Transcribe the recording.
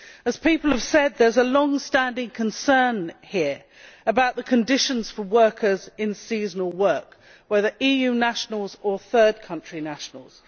As people have said, there is a long standing concern here about the conditions for workers in seasonal work, whether EU nationals or third country nationals.